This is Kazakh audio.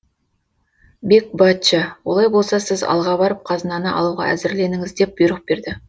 бек бачча олай болса сіз алға барып қазынаны алуға әзірленіңіз деп бұйрық берді